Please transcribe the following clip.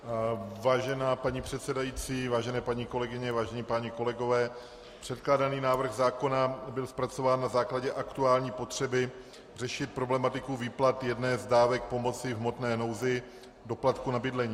Vážená paní předsedající, vážené paní kolegyně, vážení páni kolegové, předkládaný návrh zákona byl zpracován na základě aktuální potřeby řešit problematiku výplat jedné z dávek pomoci v hmotné nouzi, doplatku na bydlení.